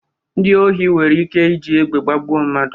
Ndị ohi nwere ike iji egbe gbagbu mmadụ.